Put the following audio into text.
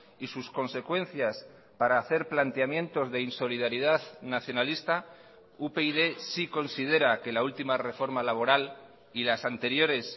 y sus consecuencias para hacer planteamientos de insolidaridad nacionalista upyd sí considera que la última reforma laboral y las anteriores